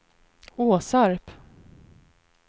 Åsarp